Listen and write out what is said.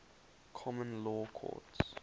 common law courts